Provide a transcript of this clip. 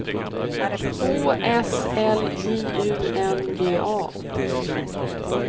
Å S L J U N G A